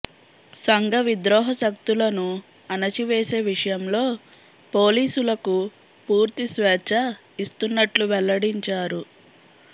సంఘ విద్రోహశక్తులను అణచివేసే విషయంలో పోలీసులకు పూర్తి స్వేచ్ఛ ఇస్తున్నట్లు వెల్లడించారు